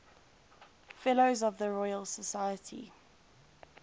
fellows of the royal society